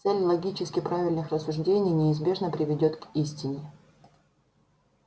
цель логически правильных рассуждений неизбежно приведёт к истине